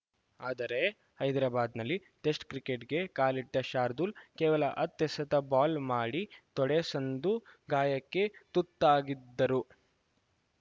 ಆದರೆ ಹೈದರಾಬಾದ್‌ನಲ್ಲಿ ಟೆಸ್ಟ್‌ ಕ್ರಿಕೆಟ್‌ಗೆ ಕಾಲಿಟ್ಡ ಶಾರ್ದೂಲ್‌ ಕೇವಲ ಹತ್ತು ಎಸೆತ ಬೌಲ್‌ ಮಾಡಿ ತೊಡೆ ಸಂದು ಗಾಯಕ್ಕೆ ತುತ್ತಾಗಿದ್ದರು